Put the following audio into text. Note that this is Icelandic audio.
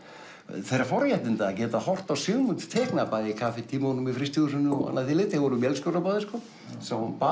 þeirra forréttinda að geta horft á Sigmund teikna bæði í kaffitímunum í frystihúsinu og annað þvíumlíkt þeir voru vélstjórar báðir sko sáu um